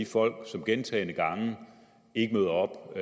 folk som gentagne gange ikke møder op